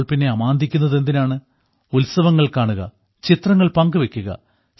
അപ്പോൾ പിന്നെ അമാന്തിക്കുന്നതെന്തിനാണ് ഉത്സവങ്ങൾ കാണുക ചിത്രങ്ങൾ പങ്കുവെയ്ക്കുക